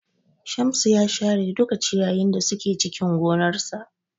Shamsu ya share duka ciyayin da suke cikin gonarsa.